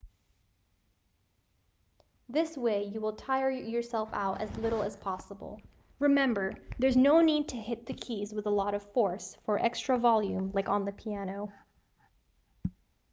this way you will tire yourself out as little as possible remember there's no need to hit the keys with a lot of force for extra volume like on the piano